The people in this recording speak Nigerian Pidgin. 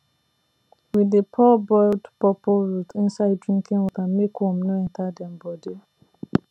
we dey pour boiled pawpaw root inside drinking water make worm no enter dem body